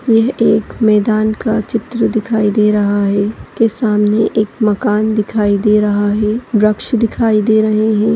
यह एक मैदान का चित्र दिखाई दे रहा है के सामने एक मकान दिखाई दे रहा है वृक्ष दिखाई दे रहे हैं।